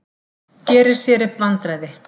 Gerir sér upp vandræði.